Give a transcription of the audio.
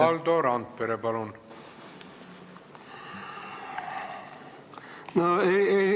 Valdo Randpere, palun!